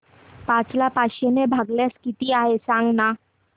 पाच ला पाचशे ने भागल्यास किती आहे सांगना